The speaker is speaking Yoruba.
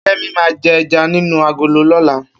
Kemi ma je ẹja nínú agolo lọ́la